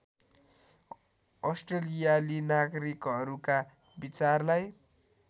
अस्ट्रेलियाली नागरिकहरूका विचारलाई